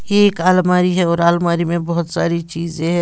एक अलमारी है और अलमारी में बहोत सारी चीजें हैं।